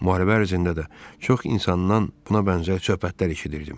Müharibə ərzində də çox insandan buna bənzər söhbətlər eşidirdim.